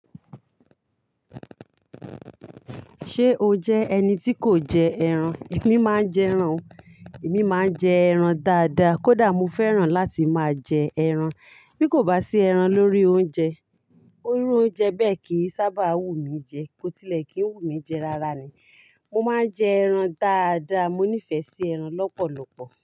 Ṣé o jẹ́ ẹni tí kò jẹ ẹran? Èmi máa ń jẹ ẹran. Èmi máa ń jẹ ẹran dáadáa. Kódà mo fẹ́ràn láti máa jẹ ẹran. Bí kò bá sí ẹran lórí oúnjẹ, orí oúnjẹ bẹ́ẹ̀ kì í sábà wù mí jẹ. Kótílẹ̀ kì í wù mí jẹ rárá ni. Mo máa ń jẹ ẹran dáadáa. Mo nífẹ̀ẹ́ sí ẹran lọ́pọ̀lọpọ̀.